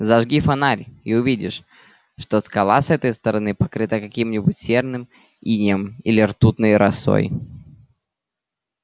зажги фонарь и увидишь что скала с этой стороны покрыта каким-нибудь серным инеем или ртутной росой